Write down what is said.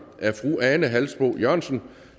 af fru ane halsboe jørgensen